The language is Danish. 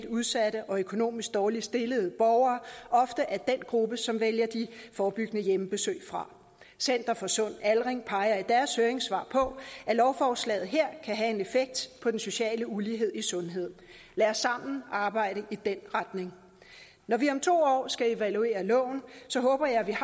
udsatte og økonomisk dårligt stillede borgere er den gruppe som oftest vælger de forebyggende hjemmebesøg fra center for sund aldring peger i deres høringssvar på at lovforslaget her kan have en effekt på den sociale ulighed i sundhed lad os sammen arbejde i den retning når vi om to år skal evaluere loven håber jeg vi